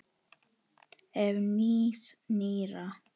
Ef. nýs- nýrra